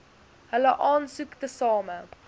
hulle aansoek tesame